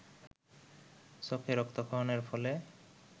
চোখে রক্তক্ষরণের ফলে